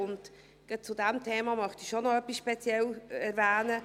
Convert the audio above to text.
Gerade zu diesem Thema möchte ich etwas speziell erwähnen: